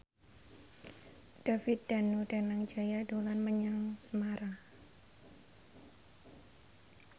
David Danu Danangjaya dolan menyang Semarang